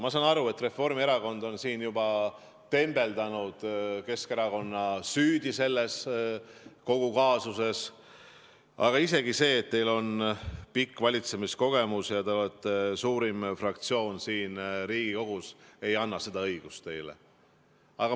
Ma saan aru, et Reformierakond on juba tembeldanud Keskerakonna süüdi kogu selles kaasuses, aga isegi see, et teil on pikk valitsemiskogemus ja te olete suurim fraktsioon siin Riigikogus, ei anna teile seda õigust.